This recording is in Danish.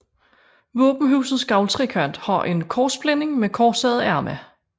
Våbenhusets gavltrekant har en korsblænding med korsede arme